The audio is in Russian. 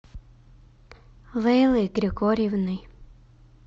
лейлой григорьевной